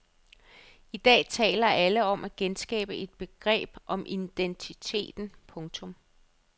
I dag taler alle om at genskabe et begreb om identiteten. punktum